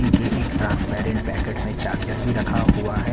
ईके एक transparent packet मे एक चार्जर भी रखा हुआ है।